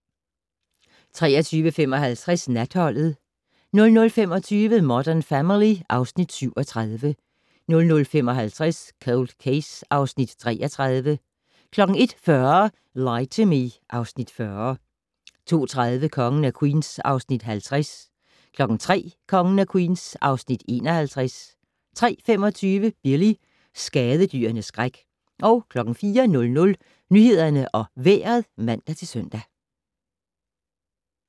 23:55: Natholdet 00:25: Modern Family (Afs. 37) 00:55: Cold Case (Afs. 33) 01:40: Lie to Me (Afs. 40) 02:30: Kongen af Queens (Afs. 50) 03:00: Kongen af Queens (Afs. 51) 03:25: Billy - skadedyrenes skræk 04:00: Nyhederne og Vejret (man-søn)